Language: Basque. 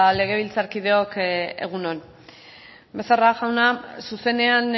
legebiltzarkideok egun on becerra jauna zuzenean